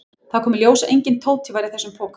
Það kom í ljós að enginn Tóti var í þessum poka.